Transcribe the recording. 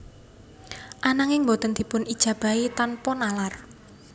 Ananging boten dipun ijabahi tanpa nalar